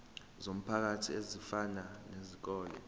zomphakathi ezifana nezikole